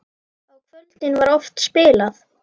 Á kvöldin var oft spilað.